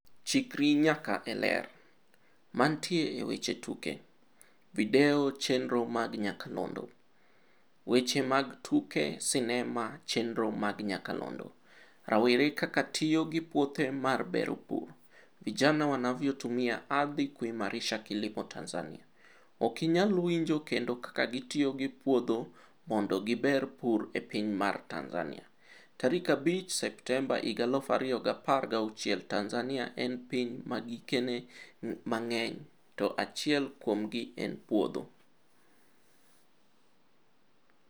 Chikri nyaka e Ler. Mantie e weche tuke. Video chenro mag nyakalondo. Weche mag tuke sinema chenro mag nyakalondo. Rawre kaka tiyo gi puothe mar bero pur. Vijana wanavyotumia ardhi kuimarisha kilimo Tanzania. Ok inyal winjo kendo kaka gi tiyo gi puodho maondo gi ber pur e piny mar Tanzania. Tarik 5 Septemba 2016 Tanzania en piny ma gikeni mang'eny, to achiel kuomgi en puodho.